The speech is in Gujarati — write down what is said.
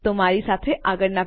તો મારી સાથે આગળનાં ભાગમાં જોડાવો